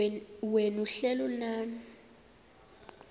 wena uhlel unam